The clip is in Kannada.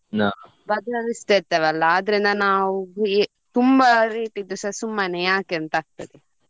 ಇರ್ತೆವೆ ಅಲ್ಲ ಆದ್ರಿಂದ ನಾವ್ ತುಂಬಾ rate ಇದ್ದುಸ ಸುಮ್ಮನೆ ಯಾಕೆ ಅಂತ ಆಗ್ತದೆ.